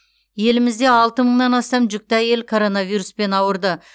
елімізде алты мыңнан астам жүкті әйел коронавируспен ауырды